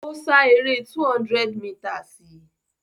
Ó sá eré 200 mításìì.